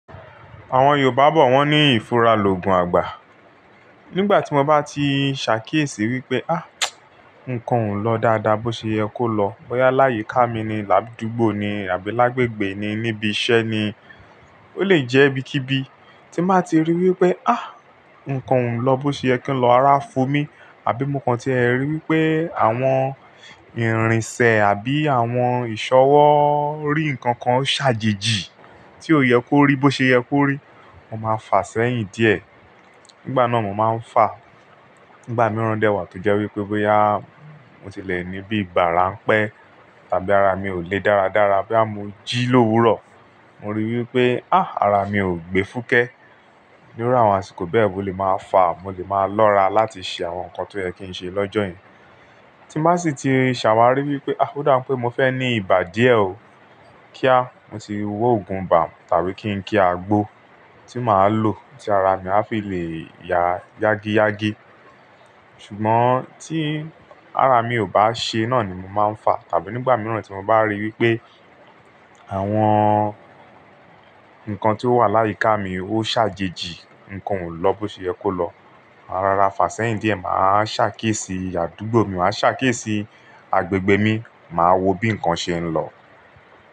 Àwọn Yorùbá bọ̀ wọ́n ní ìfura lọ̀gún àgbà. Nígbà tí mo bá ti ṣàkiéṣí wípé, á, ǹkan ò lọ dáadáa bó ṣe yẹ kó lọ. Ọya láyìíká mi ni, àbí àdúgbò ni, àbí lágbègbè ni, níbi iṣẹ́ ni. Ó lè jẹ́ ibikíbi tí ń bàá ti rí wípé, á, ǹkan ò lọ bó ṣe yẹ kí ǹ lọ, ara fun mí. Àbí mo kan tí ẹ rí wípé àwọn ìrìnsẹ̀ àbí àwọn ìṣọwọ́ rí ǹkan kan ṣàjèjì tí ò yẹ kó rí bó ṣe yẹ kó rí, mo máa fàá sẹ́yìn díẹ̀. Nígbà náà mo máa ń fàá. Nígbà mìíràn dẹ wà tí jẹ́ wípé bóyá mo ti lè ní bí ìgbà rá ń pẹ́ tàbí ara mi ò le dára dára bóyá mo jí lówurọ̀. Mo rí wípé, á, ara mi ò gbe fúkẹ. Ní irú àwọn àsìkò bẹ́ẹ̀ mo lè máa fàá, mo lè máa lọ́ra láti ṣe àwọn nǹkan tí ó yẹ kí ń ṣe lọ́jọ́ yẹn. Tí màá sì ti ṣàwárí wípé, ó dá bi pé mo fẹ́ ní ibà díẹ̀ ó, kíá mo ti wọ ògùn bà tàbí kí ń kí àgbo tí màá lò tí ara mi á fi lè ya yágíyágí. Ṣùgbọ́n tí ara mi ò bá ṣe iná ni mo máa ń fàá tàbí nígbà mìíràn tí mo bá rí wípé àwọn nǹkan tí ó wà láyìíká mi ó ṣàjèjì, ǹkan ò lọ bó ṣe yẹ kó lọ. Máa rọra fàá sẹ́yìn díẹ̀, màá ṣàkíyèsí àdúgbò mi, màá ṣàkíyèsí àgbègbè mi, màá wo bí nǹkan ṣe ń lọ.